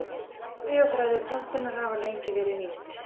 Fræ og þræðir plöntunnar hafa lengi verið nýtt.